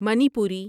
Manipuri